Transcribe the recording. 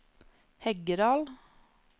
Heggedal